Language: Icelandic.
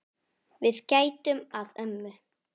Við gætum að ömmu.